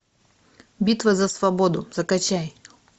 битва за свободу закачай